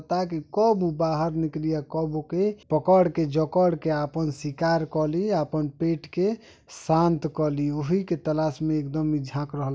ता की कब उ बाहर निकली औरु कब ओके पकड़ के जकड़ के आपन सिकार कर लि आपन पेट के शांत कली उही के तलाश मे एकदम झांक रहल --